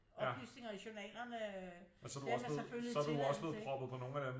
Oplysninger i journalerne øh det har man selvfølgelig tilladelse til